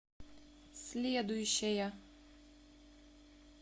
следующая